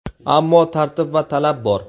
Ammo tartib va talab bor.